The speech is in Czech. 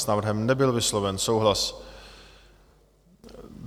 S návrhem nebyl vysloven souhlas.